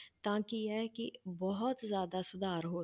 ਤਾਂ ਕੀ ਹੈ ਕਿ ਬਹੁਤ ਜ਼ਿਆਦਾ ਸੁਧਾਰ ਹੋ,